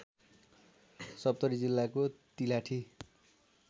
सप्तरी जिल्लाको तिलाठी